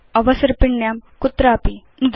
अवसर्पिण्यां कुत्रापि नुदतु